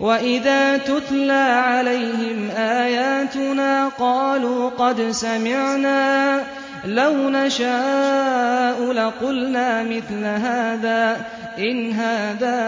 وَإِذَا تُتْلَىٰ عَلَيْهِمْ آيَاتُنَا قَالُوا قَدْ سَمِعْنَا لَوْ نَشَاءُ لَقُلْنَا مِثْلَ هَٰذَا ۙ إِنْ هَٰذَا